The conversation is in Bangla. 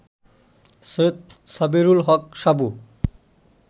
সৈয়দ সাবেরুল হক সাবু